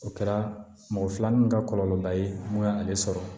O kɛra mɔgɔ filanan in ka kɔlɔlɔ ba ye mun ye ale sɔrɔ